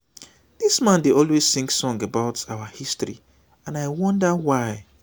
dis man dey always sing song about our history and i wonder why